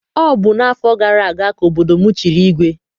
Ọ bụ n'afọ gara aga ka obodo m chiri igwe.